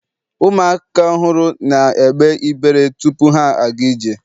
ụmụaka ọhụrụ na egbe ibere tupu ha aga ije